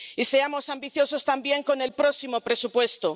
Y seamos ambiciosos también con el próximo presupuesto.